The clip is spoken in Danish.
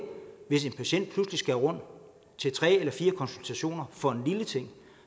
hvis en patient pludselig skal rundt til tre eller fire konsultationer for en lille ting